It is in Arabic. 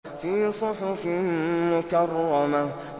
فِي صُحُفٍ مُّكَرَّمَةٍ